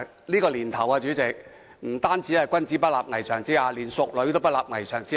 "這個年頭，不單"君子不立危牆之下"，連"淑女也不立危牆之下"。